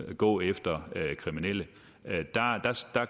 at gå efter kriminelle